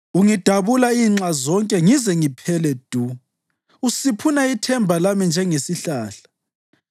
Ungidabula inxa zonke ngize ngiphele du; usiphuna ithemba lami njengesihlahla.